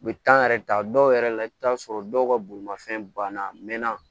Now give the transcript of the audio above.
U bɛ yɛrɛ ta dɔw yɛrɛ la i bɛ taa sɔrɔ dɔw ka bolimafɛn banna a mɛnna